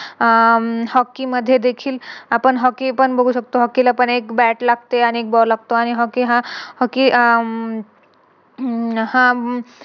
आह हम्म Hockey मध्ये देखील आपण Hockey पण बघू शकतो. Hockey ला पण एक Bat लागते आणि एक Ball लागतो आणि हा Hockey हा हम्म हा